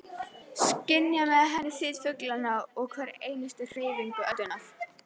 Skynja með henni þyt fuglanna og hverja einustu hreyfingu öldunnar.